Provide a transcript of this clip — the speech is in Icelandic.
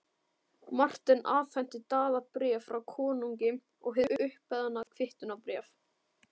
Marteinn afhenti Daða bréf frá konungi og hið umbeðna kvittunarbréf.